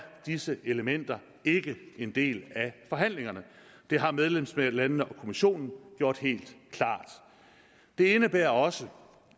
disse elementer ikke en del af forhandlingerne det har medlemslandene og kommissionen gjort helt klart det indebærer også